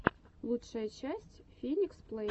лучшая часть феникс плэй